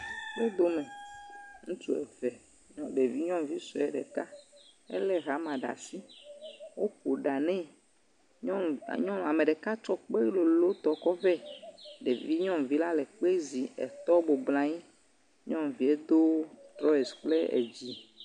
Ŋutsuwo do me, ŋutsu eve, ɖevi nyɔnuvi sɔe ɖeka ele hama ɖe asi, woƒo ɖa ne, nyɔnu ah, ame ɖeka tsɔ kpe lolo tɔ kɔ ve. Ɖevi nyɔnuvi le kple zi, etɔ bɔbɔ nɔ anyi hedo trɔsesi kple dzi